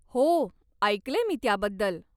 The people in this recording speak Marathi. हो, ऐकलंय मी त्याबद्दल.